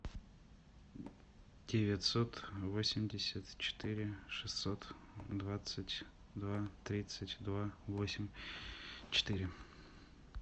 девятьсот восемьдесят четыре шестьсот двадцать два тридцать два восемь четыре